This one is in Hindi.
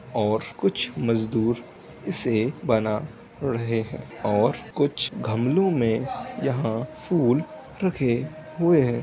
और कुछ मजदूर इसे बना रहे हैं और कुछ गमलों में यहां फूल रखे हुए हैं।